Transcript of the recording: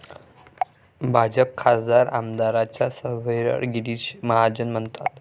भाजप खासदार, आमदारांच्या सर्व्हेवर गिरीश महाजन म्हणतात...